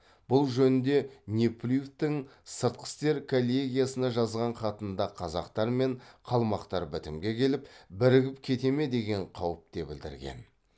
бұл жөнінде неплюевтің сыртқы істер коллегиясына жазған хатында қазақтар мен қалмақтар бітімге келіп бірігіп кете ме деген қауіп те білдірген